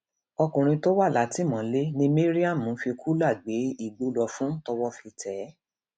ọkùnrin tó wà látìmọlé ni mariam ń fi kùlà gbé igbó lọ fún tọwọ fi tẹ ẹ